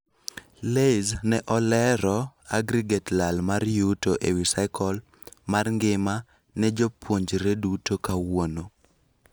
LAYS ne oleero aggregate lal mar yuto ewii cycle mar ngima ne jopuonjre duto kawuono.